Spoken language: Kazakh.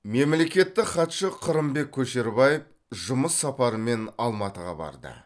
мемлекеттік хатшы қырымбек көшербаев жұмыс сапарымен алматыға барды